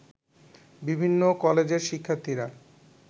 বিভিন্ন কলেজের শিক্ষার্থীরা